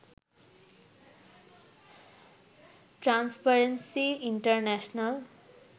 transparency international